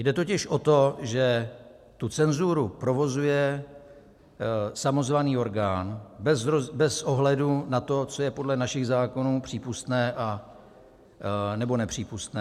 Jde totiž o to, že tu cenzuru provozuje samozvaný orgán bez ohledu na to, co je podle našich zákonů přípustné nebo nepřípustné.